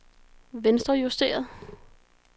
venstrejusteret